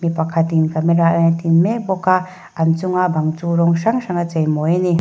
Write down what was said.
mi pakhatin camera a en tin mek bawk a an chunga bang chu rawng hrang hrang a chei mawi ani.